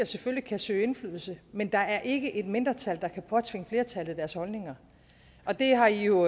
selvfølgelig kan søge indflydelse men der er ikke et mindretal der kan påtvinge flertallet deres holdninger og det har i jo